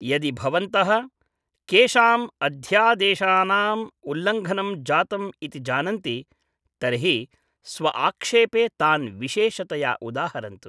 यदि भवन्तः, केषाम् अध्यादेशानाम् उल्लङ्घनं जातम् इति जानन्ति, तर्हि स्व आक्षेपे तान् विशेषतया उदाहरन्तु।